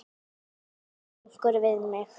sagði einhver við mig.